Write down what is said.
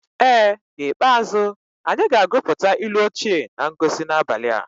Ee n'ikpeazụ, anyị ga-agụpụta ilu ochie na ngosi n'abalị a.